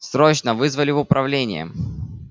срочно вызвали в управление